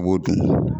I b'o dun